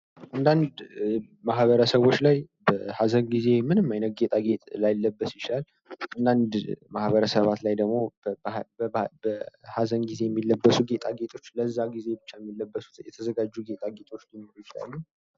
በአንዳንድ ሚህበረሰቦች ላይ በሀዘን ጊዜ ምንም አይነት ጌጣጌጥ ላይለበስ ይችላል። አንዳንድ ማህበረሰባት ላይ ደግሞ በሀዘን ጊዜ የሚለብሱ ጌጣጌጦች ለዛ ጊዜ ብቻ የሚለበሱ የተዘጋጁ ጌጣጌጦች ሊኖሩ ይችላሉ።